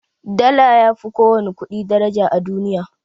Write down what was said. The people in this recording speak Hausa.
Dala yafi ko wani ƙudi daraja a duniya